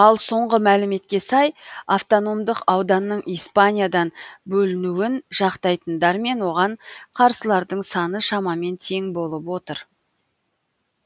ал соңғы мәліметке сай автономдық ауданның испаниядан бөлінуін жақтайтындар мен оған қарсылардың саны шамамен тең болып отыр